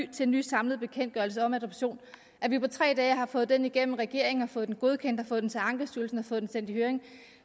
til en ny samlet bekendtgørelse om adoption at vi på tre dage har fået den igennem regeringen og har fået den godkendt og fået den til ankestyrelsen og fået den sendt i høring